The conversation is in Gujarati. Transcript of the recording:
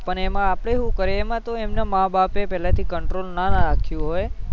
પણ એમાં આપડે પણ શુ કરેય એમાં તો એમના માબાપ એ પેલાથી control ના રાખું હોય